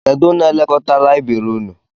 Kedụ n'elekọta layibiri ụnụ?